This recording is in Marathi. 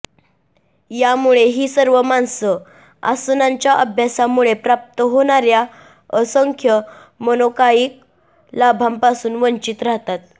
यामुळे ही सर्व माणसं आसनांच्या अभ्यासामुळे प्राप्त होणार्या असंख्य मनोकायिक लाभांपासून वंचित राहतात